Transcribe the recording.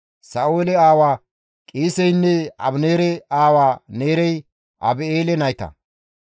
Sa7oole aawa Qiiseynne Abineere aawa Neerey Abi7eele nayta.